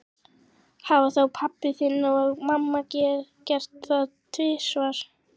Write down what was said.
Hafa þá pabbi þinn og mamma gert það tvisvar?